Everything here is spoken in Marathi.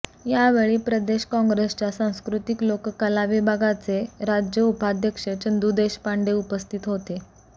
या वेळी प्रदेश काँग्रेसच्या सांस्कृतिक लोककला विभागाचे राज्य उपाध्यक्ष चंदू देशपांडे उपस्थित होते